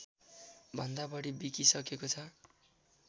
भन्दा बढी बिकिसकेको छ